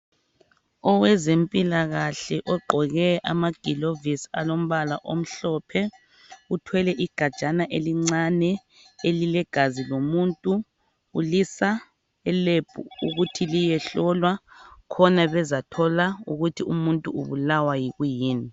Owezempilakahle ogqoke amagilovisi alombala omhlophe uthwele igajana elincane elilegazi lomuntu ulisa eLab ukuthi liyehlolwa khona bezathola ukuthi umuntu ubulawa yikwiyini